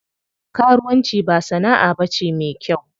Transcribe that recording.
Karuwan ci ba sana'a bace me kyau.